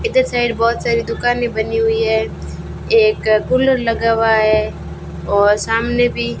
इधर साइड बहोत सारी दुकानें बनी हुई हैं एक कूलर लगा हुआ है और सामने भी --